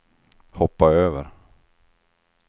hoppa över